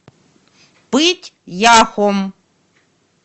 пыть яхом